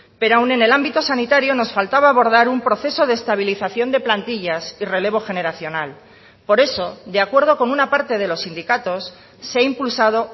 pero aún en el ámbito sanitario nos faltaba abordar un proceso de estabilización de plantillas y relevo generacional por eso de acuerdo con una parte de los sindicatos se ha impulsado